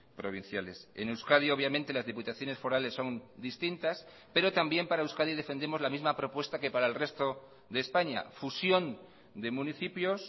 provinciales en euskadi obviamente las diputaciones forales son distintas pero también para euskadi defendemos la misma propuesta que para el resto de españa fusión de municipios